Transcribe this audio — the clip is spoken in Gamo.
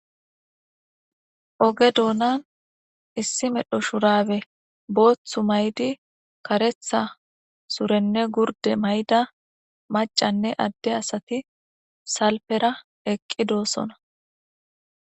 Oge duma issi medho shubare bothu mayiddi katetha surenne gurde mayida adde asati salfera eqidosona